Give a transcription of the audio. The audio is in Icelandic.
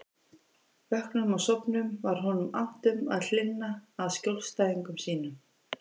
Vöknum og sofnum var honum annt um að hlynna að skjólstæðingum sínum.